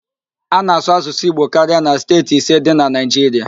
A na-asụ Asụsụ Igbo karia na steeti ise dị na Naịjiria